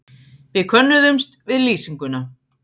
Við könnuðumst við lýsinguna.